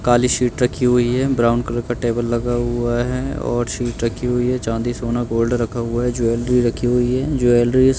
काली sheet रखी हुई है ब्राउन कलर का टेबल लगा हुआ है और शीट रखी हुई है चांदी सोना गोल्ड रखा हुआ है ज्वेलरी रखी हुई है ज्वेलरीस --